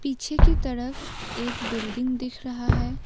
पीछे की तरफ एक बिल्डिंग दिख रहा है ।